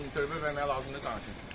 İntervyü verməyə hazırdır, danışın.